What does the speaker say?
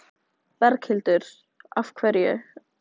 Berghildur: Af hverju?